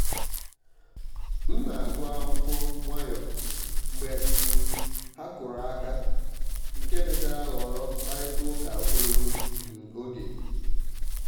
m na-agụ akwụkwọ nwayọ mgbe um ha kụrụ aka nke mechara ghọrọ mkparịta ụka ogologo um oge.